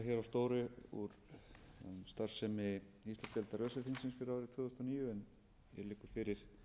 stóru um starfsemi íslandsdeildar öse þingsins fyrir árið tvö þúsund og níu en hér liggur fyrir